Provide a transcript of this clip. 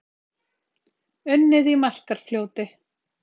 Unnið í Markarfljóti